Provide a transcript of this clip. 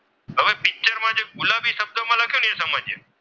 સમજીએ.